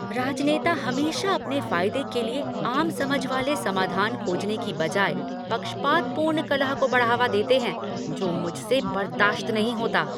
राजनेता हमेशा अपने फायदे के लिए आम समझ वाले समाधान खोजने की बजाय पक्षपातपूर्ण कलह को बढ़ावा देते हैं जो मुझसे बर्दाश्त नहीं होता।